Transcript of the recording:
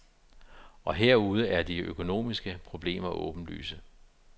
Og herude er de økonomiske problemer åbenlyse.